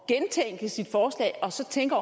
at gentænke sit forslag og så tænke